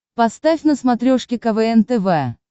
поставь на смотрешке квн тв